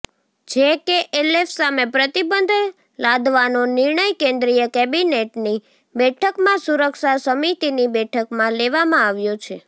JKLF સામે પ્રતિબંધ લાદવાનો નિર્ણય કેન્દ્રીય કેબિનેટની બેઠકમાં સુરક્ષા સમિતિની બેઠકમાં લેવામાં આવ્યો છે